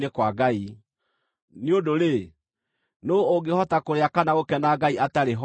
nĩ ũndũ-rĩ, nũũ ũngĩhota kũrĩa kana gũkena Ngai atarĩ ho?